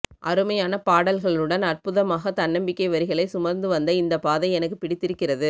அருமையான பாடல்களுடன் அற்புதமாக தன்னம்பிக்கை வரிகளை சுமந்து வந்த இந்தப் பாதை எனக்குப் பிடித்திருக்கிறது